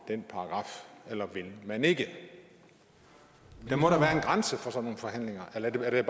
den paragraf eller vil man ikke der må da være en grænse for sådan nogle forhandlinger eller er det